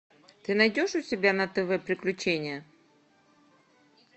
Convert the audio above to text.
ты найдешь у себя на тв приключения